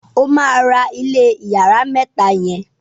ọ má rà ilé iyàrá mẹta yen.